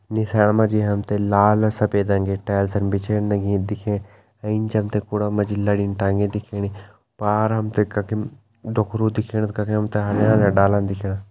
निसाण मा जी हमतें जी लाल अर सफेद रंगी टैल्सन बिछेन लगीं दिखेण एंच हमतें कुड़ा मा जी लड़ींन टंगी दिखेणी पार हमतें कखिम डोखरु दिखेण कखिम हमतें हरयां -हरयां डाला दिखेणा।